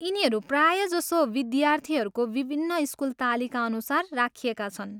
यिनीहरू प्रायःजसो विद्यार्थीहरूको विभिन्न स्कुल तालिकाअनुसार राखिएका छन्।